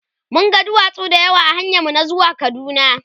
mun ga duwatsu da yawa ahanyan mu na zuwa kaduna